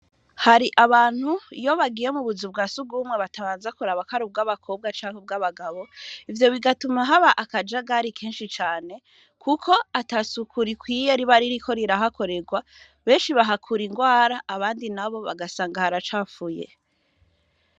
Hari abantu iyi bagiye mutuzu twa sugumwe, batarinda kuraba ko ari ubwabakobwa canke ubwabagabo, ivyo bigatuma haba akajagari, keshi cane kuko atasuku rikwiye riba ririko rirahakorerwa beshi bahakura, ingwara abandi nabi bagasanga haracafuye.